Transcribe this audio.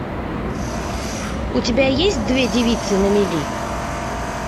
у тебя есть две девицы на мели